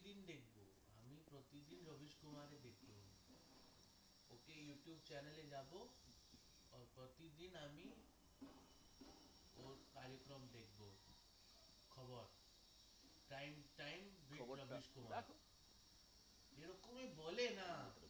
বলেনা